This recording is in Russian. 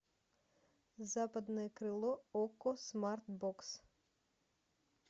западное крыло окко смарт бокс